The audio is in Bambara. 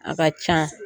A ka can